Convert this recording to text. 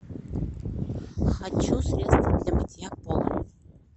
хочу средство для мытья пола